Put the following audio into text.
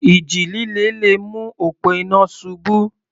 Ìjì líle le mú òpó iná ṣubú.